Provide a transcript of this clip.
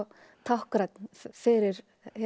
táknrænn fyrir